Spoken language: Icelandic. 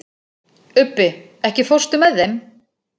Ubbi, ekki fórstu með þeim?